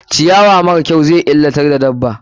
Ciyawa mara kyau zai illatar da dabba.